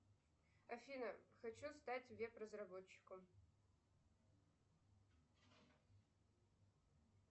афина хочу стать веб разработчиком